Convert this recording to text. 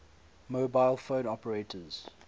mobile phone operators